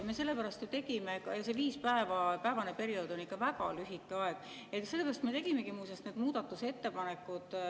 See viiepäevane periood on ikka väga lühike aeg ja sellepärast me tegimegi muuseas need muudatusettepanekud.